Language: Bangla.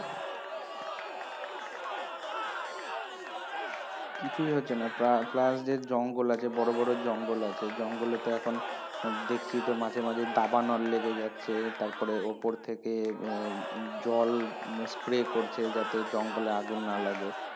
কিছুই হচ্ছে না plus যে জঙ্গল আছে বড় বড় জঙ্গল আছে জঙ্গলে তো এখন দেখছি তো মাঝে মাঝে দাবানল লেগে যাচ্ছে তারপরে ওপর থেকে আহ জল spray করছে যাতে জঙ্গলে আগুন না লাগে।